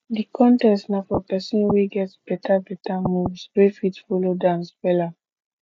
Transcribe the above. di contest na for pesin wey get beta beta moves wey fit folo dance wella